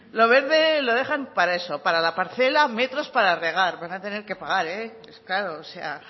lo verde lo dejan para eso para la parcela metros para regar van a tener que pagar eh es caro o sea